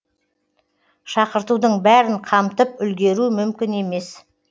шақыртудың бәрін қамтып үлгеру мүмкін емес